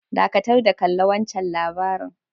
Dakatar da kalla wancan labari'n.